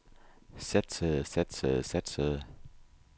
satsede satsede satsede